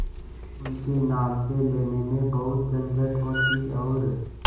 उनके नाम से लेने में बहुत झंझट होती और